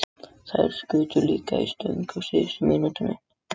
Þær skutu líka í stöng á síðustu mínútunni.